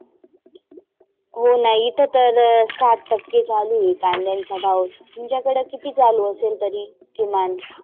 होना इथं तर साटक्के चालू आहे कांद्यांचा भाव तुमच्याकड किती चालू असेल भाव तरी? किमान.